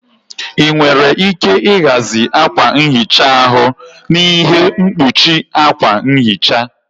Ị nwere ike ịhazi akwa nhicha ahu na ihe mkpuchi akwa nhicha.